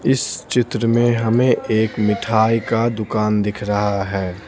इस चित्र में हमें एक मिठाई का दुकान दिख रहा है।